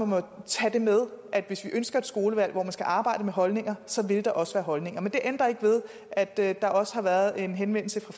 må tage med at hvis vi ønsker et skolevalg hvor man skal arbejde med holdninger så vil der også være holdninger men det ændrer ikke ved at der der også har været en henvendelse fra